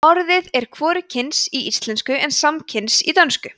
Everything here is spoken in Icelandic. orðið er hvorugkyns í íslensku en samkyns í dönsku